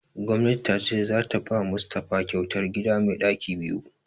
Gwannati ta ce za ta ba Mustapha kyautar gida mai ɗaki biyu